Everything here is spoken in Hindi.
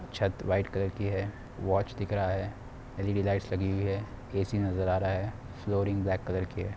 छत व्हाइट कलर की है। वॉच दिख रहा है। एल_इ_डी लाइटस लगी हुई है। ऐ_सी नजर आ रहा है। फ्लोरिंग ब्लैक कलर की है।